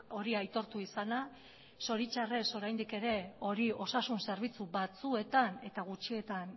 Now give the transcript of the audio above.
hori aitortu izana zoritxarrez oraindik ere hori osasun zerbitzu batzuetan eta gutxietan